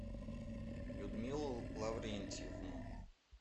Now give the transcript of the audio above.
людмилу лаврентьевну